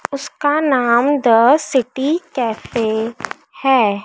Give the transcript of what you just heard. उसका नाम the city cafe है।